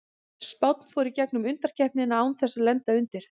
Spánn fór í gegnum undankeppnina án þess að lenda undir.